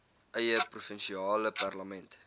eie provinsiale parlement